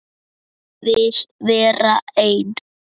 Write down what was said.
Vil vera ein.